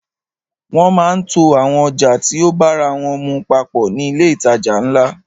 Wọ́n máa ń to àwọn ọjà tí o bára wọ́n mu papọ̀ ní ilé ìtajà ńlá.